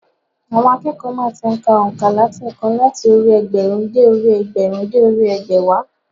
Àwọn akẹ́kọ̀ọ́ má ti n ka ònkà látèèkan láti orí i ẹgbẹ̀rún dé orí i ẹgbẹ̀rún dé orí i ẹgbẹ̀wá